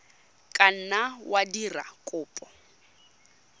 ka nna wa dira kopo